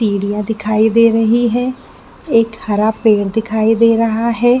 सीढ़ियाँ दिखाई दे रही है एक हरा पेड़ दिखाईं दे रहा है।